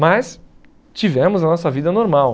Mas tivemos a nossa vida normal.